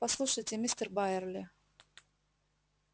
послушайте мистер байерли